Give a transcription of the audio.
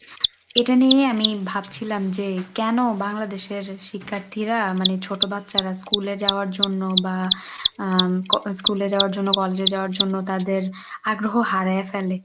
এটা নিয়ে আমি ভাবছিলাম যে কেন বাংলাদেশের শিক্ষার্থীরা মানে ছোট বাচ্চারা school এ যাওয়ার জন্য বা আহ ক~ school এ যাওয়ার জন্য college যাওয়ার জন্য তাদের আগ্রহ হারিয়ে ফেলে?